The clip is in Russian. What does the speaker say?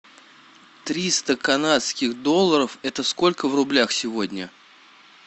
триста канадских долларов это сколько в рублях сегодня